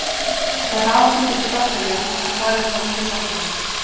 Þær hafa fundist í bakteríum en þar eru þær mjög sjaldgæfar.